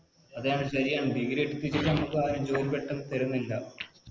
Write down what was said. അതാണ്ശരിയാണ് Degree ഒക്കെ കിട്ടി ഞമ്മക്കാരും ജോലി പെട്ടന്ന് തരുന്നില്ല